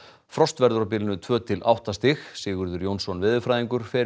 frost verður á bilinu tvö til átta stig Sigurður Jónsson veðurfræðingur fer